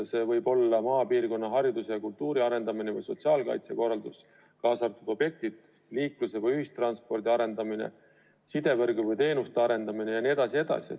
See võib olla maapiirkonna hariduse ja kultuuri arendamine või sotsiaalkaitsekorraldus, kaasa arvatud teatud objektid, liikluse või ühistranspordi arendamine, sidevõrguteenuste arendamine jne, jne.